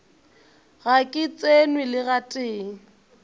ga ke tsenwe le gatee